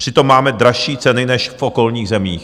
Přitom máme dražší ceny než v okolních zemích.